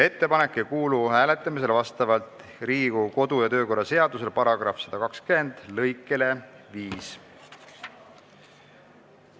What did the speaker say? Ettepanek ei kuulu vastavalt Riigikogu kodu- ja töökorra seaduse § 120 lõikele 5 hääletamisele.